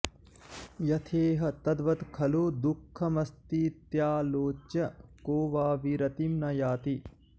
यथेह तद्वत्खलु दुःखमस्तीत्यालोच्य को वा विरतिं न याति